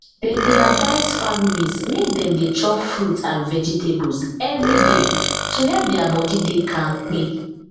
dem dey advice families make dem dey chop fruit and vegetables every day to help their body dey kampe